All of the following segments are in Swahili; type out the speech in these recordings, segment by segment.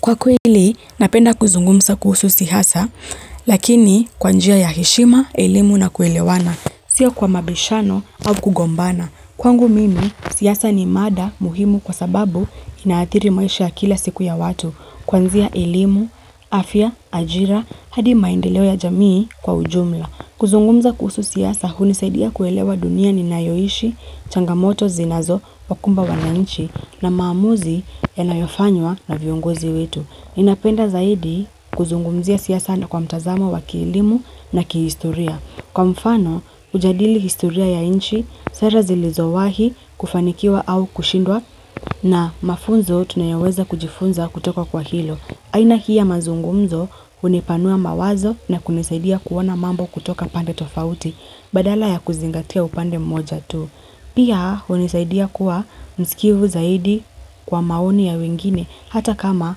Kwa kweli, napenda kuzungumza kuhusu siasa, lakini kwa njia ya heshima, elimu na kuelewana. Sio kwa mabishano au kugombana. Kwangu mimi, siasa ni mada muhimu kwa sababu inaathiri maisha kila siku ya watu. Kwanzia elimu, afya, ajira, hadi maendeleo ya jamii kwa ujumla. Kuzungumza kuhusu siasa, hunisaidia kuelewa dunia ninayoishi, changamoto zinazo, wakumba wana inchi, na maamuzi yanayofanywa na viongozi wetu. Ninapenda zaidi kuzungumzia siasa na kwa mtazamo wa kielimu na kihistoria. Kwa mfano, ujadili historia ya nchi, sera zilizowahi kufanikiwa au kushindwa na mafunzo tunayoweza kujifunza kutoka kwa hilo. Aina hii ya mazungumzo hunipanua mawazo na kunisaidia kuona mambo kutoka pande tofauti badala ya kuzingatia upande mmoja tu. Pia unisaidia kuwa msikivu zaidi kwa maoni ya wengine hata kama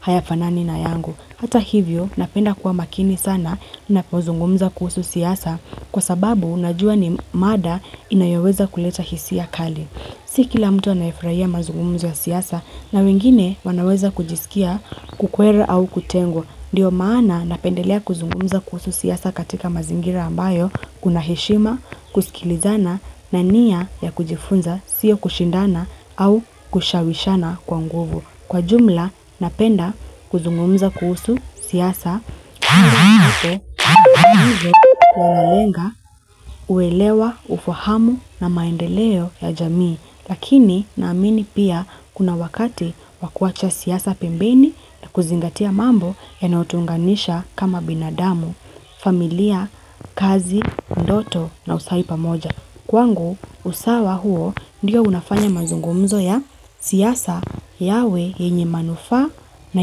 hayafanani na yangu. Hata hivyo napenda kuwa makini sana napozungumza kuhusu siasa kwa sababu unajua ni mada inayoweza kuleta hisia kali. Si kila mtu anayefuraia mazungumzo siasa na wengine wanaweza kujisikia kukwera au kutengo. Ndiyo maana napendelea kuzungumza kuhusu siasa katika mazingira ambayo kuna heshima, kusikilizana na nia ya kujifunza siyo kushindana au kushawishana kwa nguvu. Kwa jumla, napenda kuzungumza kuhusu siyasa, hivyo, wanalenga, uelewa, ufahamu na maendeleo ya jamii. Lakini naamini pia kuna wakati wakuacha siasa pembeni na kuzingatia mambo yanao tuunganisha kama binadamu, familia, kazi, ndoto na usahi pamoja. Kwangu, usawa huo ndiyo unafanya manzungumzo ya siasa yawe yenye manufaa na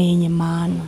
yenye maana.